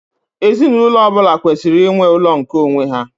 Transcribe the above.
Ezinụlọ ọ bụla kwesịrị inwe ụlọ nke onwe ha.